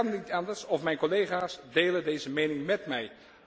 Het kan niet anders of mijn collega's delen deze mening met mij.